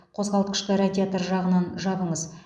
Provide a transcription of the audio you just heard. қозғалтқышты радиатор жағынан жабыңыз